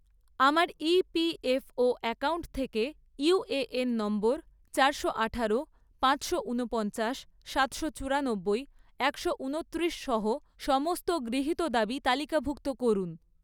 আমার EPFO ​​account থেকে UAN number চারশো আঠারো, পাঁচশো উনপঞ্চাশ, সাতশো চুরানববই , একশো উনত্রিশ সহ সমস্ত গৃহীত দাবি তালিকাভুক্ত করুন